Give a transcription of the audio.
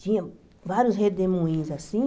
Tinha vários redemoinhos assim.